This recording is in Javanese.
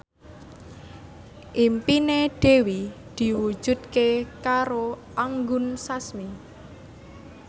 impine Dewi diwujudke karo Anggun Sasmi